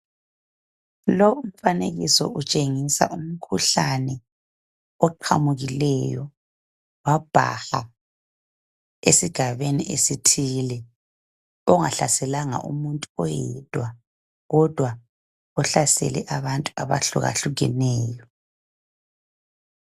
Lo umfanekiso utshengisa umkhuhlane oqhamukileyo wabhaha esigabeni esithile. Ongahlaselanga umuntu oyedwa, kodwa ohlasele abantu abahlukahlukeneyo.